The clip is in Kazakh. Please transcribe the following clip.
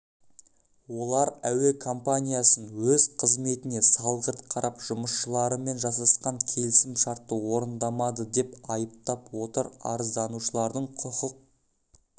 олар әуе компаниясын өз қызметіне салғырт қарап жұмысшыларымен жасасқан келісімшартты орындамады деп айыптап отыр арызданушылардың құқық